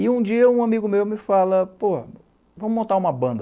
E um dia um amigo meu me fala, pô, vamos montar uma banda.